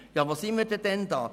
Wo sind wir denn da?